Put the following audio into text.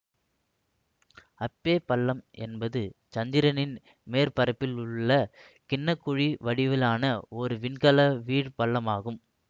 அப்பே பள்ளம் என்பது சந்திரனின் மேற்பரப்பிலுள்ள கிண்ண குழி வடிவிலான ஒரு விண்கல வீழ் பள்ளமாகும்